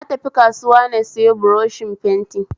Na tafi kasuwa na sayo buroshin fenti